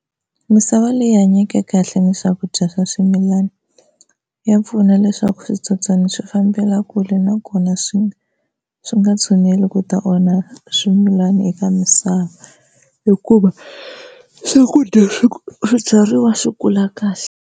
Misava leyi hanyeke kahle ni swakudya swa swimilana ya pfuna leswaku switsotswana swi fambela kule na kona swi swi nga tshuneli ku ta onha swimilani eka misava, hikuva swakudya swi swibyariwa swi kula kahle.